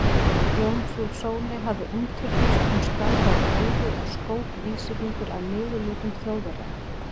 Jómfrú Sóley hafði umturnast, hún skalf af reiði og skók vísifingur að niðurlútum Þjóðverjanum.